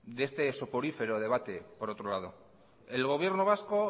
de este soporífero debate el gobierno vasco